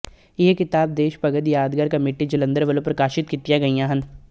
ਇਹ ਕਿਤਾਬਾਂ ਦੇਸ਼ ਭਗਤ ਯਾਦਗਾਰ ਕਮੇਟੀ ਜਲੰਧਰ ਵੱਲੋਂ ਪ੍ਰਕਾਸ਼ਤ ਕੀਤੀਆਂ ਗਈਆਂ ਹਨ